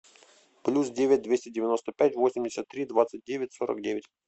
плюс девять двести девяносто пять восемьдесят три двадцать девять сорок девять